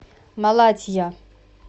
малатья